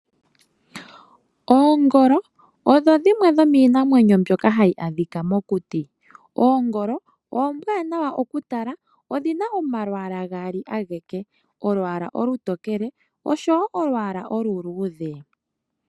Oongolo odho dhimwe dhomii namwenyo mbyoka hadhi adhika mokuti. Oongolo ombwanawa oku tala, odhina omalwaala gaali ageke. Olwaala olu tokele, osho wo olwaala olu luudhe.